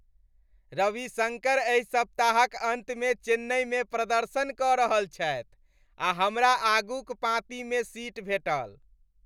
रविशङ्कर एहि सप्ताहक अन्तमे चेन्नईमे प्रदर्शन कऽ रहल छथि आ हमरा आगूक पाँतिमे सीट भेंटल!